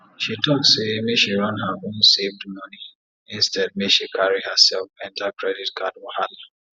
she talk say make she run her own saved money instead make she carry herself enter credit card wahala